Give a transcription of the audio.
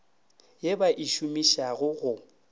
ye ba e šomišago go